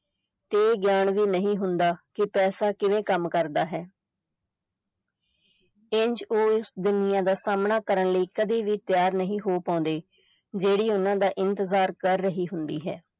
ਇਹ ਗਿਆਨ ਵੀ ਨਹੀਂ ਹੁੰਦਾ ਕਿ ਪੈਸਾ ਕਿਵੇਂ ਕੰਮ ਕਰਦਾ ਹੈ ਇੰਜ ਉਹ ਇਸ ਦੁਨੀਆ ਦਾ ਸਾਮ੍ਹਣਾ ਕਰਨ ਲਈ ਕਦੇ ਵੀ ਤਿਆਰ ਨਹੀਂ ਹੋ ਪਾਉਂਦੇ, ਜਿਹੜੀ ਉਨ੍ਹਾਂ ਦਾ ਇੰਤਜ਼ਾਰ ਕਰ ਰਹੀ ਹੁੰਦੀ ਹੈ।